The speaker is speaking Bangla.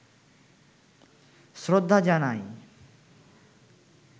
শ্রদ্ধা জানায়